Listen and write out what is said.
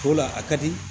O la a ka di